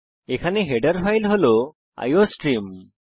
আপনি দেখতে পারেন যে হেডার ফাইল হল আইওস্ট্রিম